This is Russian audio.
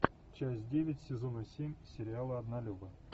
часть девять сезона семь сериала однолюбы